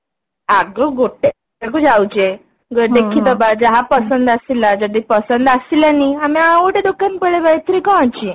ଆଗ ଗୋଟେ ଜାଗାକୁ ଯାଉଛେ ଦେଖି ଦବା ଯାହା ପସନ୍ଦ ଆସିଲା ଯଦି ପସନ୍ଦ ଆସିଲାନି ଆମେ ଆଉ ଗୋଟେ ଦୋକାନ ପଳେଇବା ଏଥିରେ କଣଅଛି